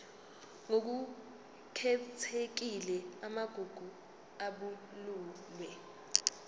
ngokukhethekile amagugu abalulwe